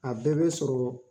A bɛɛ bɛ sɔrɔ